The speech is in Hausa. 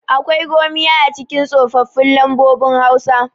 akwai gomiya a cikin tsofaffin lambobin hausa